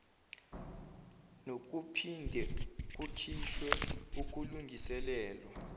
nokuphinde kukhishwe ukulungiselelwa